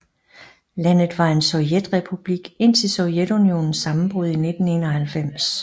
Landet var en sovjetrepublik indtil Sovjetunionens sammenbrud i 1991